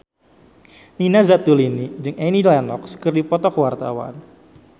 Nina Zatulini jeung Annie Lenox keur dipoto ku wartawan